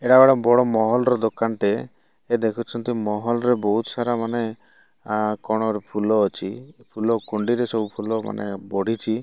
ଏଟା ଗୋଟେ ବଡ ମହଲ ଦୋକାନ ଟେ ଦେଖୁଛନ୍ତି ବହୁତ ସାରା କଣ ଫୁଲ ଅଛି ଫୁଲ କୁଣ୍ଡି ରେ ଫୁଲ ମାନେ ପଡ଼ିଛି।